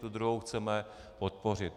Tu druhou chceme podpořit.